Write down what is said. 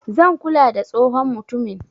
zan kula da tsohon mutumin.